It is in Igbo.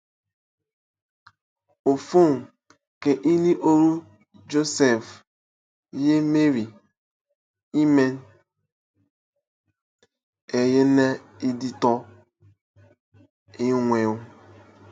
Ọfọn, ke ini oro Joseph ye Mary ẹma ẹnyene nditọ en̄wen.